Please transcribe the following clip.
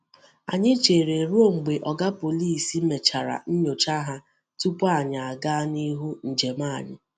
Anyị chere ruo mgbe Oga Pọlịs mechara nyocha ha tupu anyị gaa n’ihu njem anyị.